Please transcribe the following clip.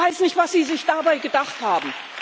Ich weiß nicht, was Sie sich dabei gedacht haben!